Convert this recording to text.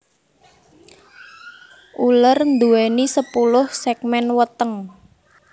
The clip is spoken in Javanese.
Uler nduwèni sepuluh ségmén weteng